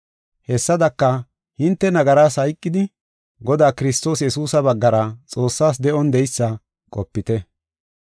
Hessadaka, hinte nagaras hayqidi, Godaa Kiristoos Yesuusa baggara Xoossas de7on de7eysa qopite.